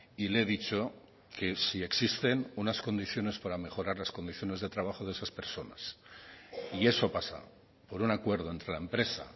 y le he dicho que si existen unas condiciones para mejorar las condiciones de trabajo de esas personas y eso pasa por un acuerdo entre la empresa